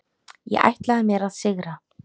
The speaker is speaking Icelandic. Ég ætlaði mér að sigra.